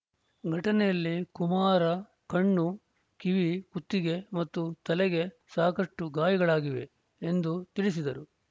ಘಟನೆಯಲ್ಲಿ ಕುಮಾರ್‌ ಕಣ್ಣು ಕಿವಿ ಕುತ್ತಿಗೆ ಮತ್ತು ತಲೆಗೆ ಸಾಕಷ್ಟುಗಾಯಗಳಾಗಿವೆ ಎಂದು ತಿಳಿಸಿದರು